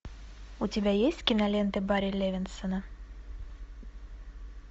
у тебя есть кинолента барри левинсона